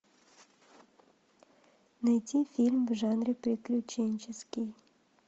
найти фильм в жанре приключенческий